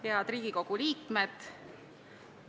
Head Riigikogu liikmed!